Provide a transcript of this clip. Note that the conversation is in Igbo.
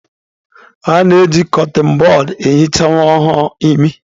A na-eji kọtịn bọd ehicha nwa ọhụrụ imi.